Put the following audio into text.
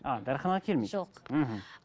ааа дәріханаға келмейді жоқ мхм